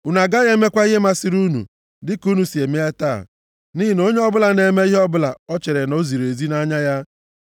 Unu agaghị emekwa ihe masịrị unu, dịka unu si eme taa, nʼihi na onye ọbụla na-eme ihe ọbụla o chere na o ziri ezi nʼanya ya,